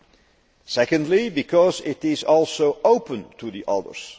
and secondly because it is also open to the others.